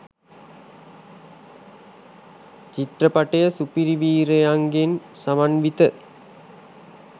චිත්‍රපටය සුපිරිවීරයන්ගෙන් සමන්විත